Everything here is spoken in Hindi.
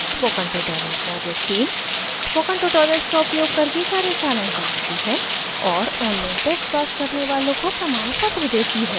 spoken tutorial project team: spoken tutorials का उपयोग करके कार्यशालाएं चलाती है और ऑनलाइन टेस्ट पास करने वालों को प्रमाणपत्र देती है